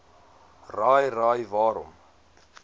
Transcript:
raai raai waarom